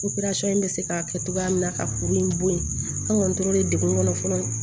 bɛ se k'a kɛ cogoya min na ka kuru in bɔ yen an ŋɔni tora degu kɔnɔ fɔlɔ